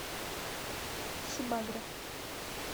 сибагро